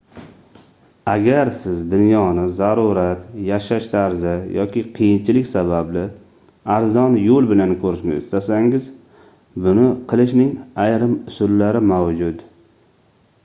agar siz dunyoni zarurat yashash tarzi yoki qiyinchilik sababli arzon yoʻl bilan koʻrishni istasangiz buni qilishning ayrim usullari mavjud